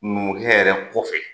Numukɛ yɛrɛ kɔfɛ.